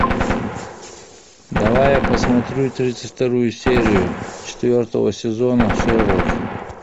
давай я посмотрю тридцать вторую серию четвертого сезона шерлок